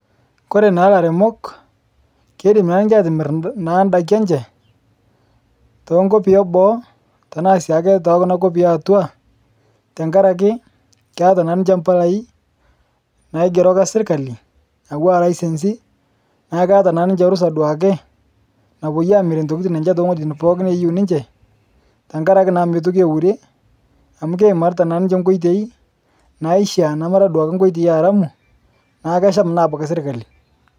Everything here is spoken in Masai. Kore naa laremok keidim naa ninshe atimir naa ndaki enshee tenkopii eboo tanaa siake tekunaa kopii eatua tankarakee keata na ninshee mpalai naig'erokaa sirkalii atuwa laisensii naa keata naa ninshee rusaa duakee napoyie amirie ntokitin enshee tong'ojitin neyeu ninshee tankarakee meitokii eurie amu keimaritaa naa ninshe nkoitei naishia namaraa duake nkoitei earamuu naa kesham naa abakii sirkalii.